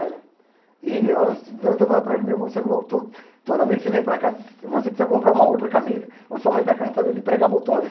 Né? E eu estava falando para ele, meu, você é louco, todo toda vez que você vem para cá, você precisa comprar uma outra camisa, ou sua mãe está cansada de pregar botões.